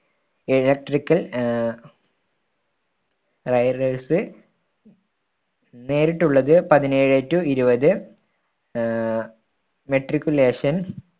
electrical uh നേരിട്ടുള്ളത് പതിനേഴേ to ഇരുപത് ആഹ് matriculation